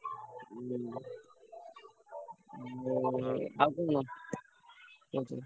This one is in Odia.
ହୁଁ ଯୋଉ ଆଉ କଣ।